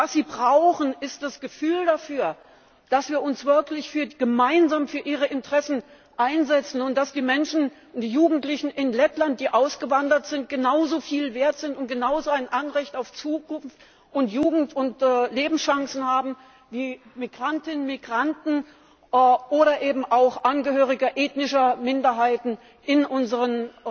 Was sie brauchen, ist das Gefühl dafür, dass wir uns wirklich gemeinsam für ihre Interessen einsetzen und dass die Menschen und die Jugendlichen in Lettland, die ausgewandert sind, genauso viel wert sind und genauso ein Anrecht auf Zukunft, Jugend und Lebenschancen haben wie Migrantinnen, Migranten oder eben auch Angehörige ethnischer Minderheiten in unseren